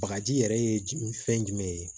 Bagaji yɛrɛ ye fɛn jumɛn ye